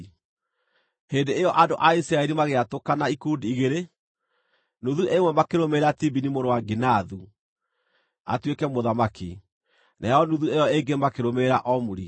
Hĩndĩ ĩyo andũ a Isiraeli magĩatũkana ikundi igĩrĩ, nuthu ĩmwe makĩrũmĩrĩra Tibini mũrũ wa Ginathu atuĩke mũthamaki, nayo nuthu ĩyo ĩngĩ makĩrũmĩrĩra Omuri.